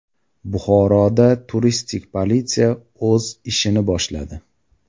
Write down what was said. Buxoroda turistik politsiya o‘z ishini boshladi.